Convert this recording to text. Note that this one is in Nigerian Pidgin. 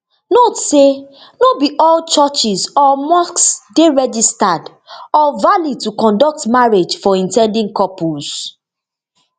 note say no be all churches or mosque dey registered or valid to conduct marriage for in ten ding couples